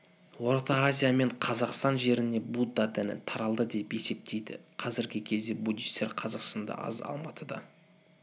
орта азия мен қазақстан жеріне будда діні таралды деп есептейді қазіргі кезде буддистер қазақстанда аз алматыда